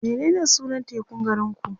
menene sunan tekun garinku?